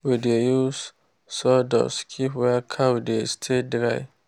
we dey use sawdust keep where cow dey stay dry.